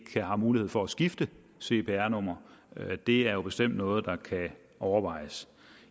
er mulighed for at skifte cpr nummer det er bestemt noget der kan overvejes